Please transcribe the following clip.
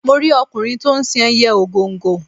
Mo rí ọkùnrin to ń sin ẹyẹ ògòǹgò.